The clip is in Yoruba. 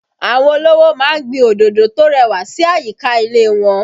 Àwọn olówó ma ń gbin òdòdó tó rẹwà sí àyíká ilé wọn